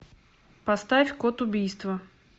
поставь код убийства